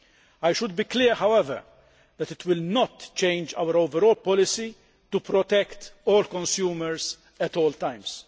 I should be clear, however, that it will not change our overall policy to protect all consumers at all times.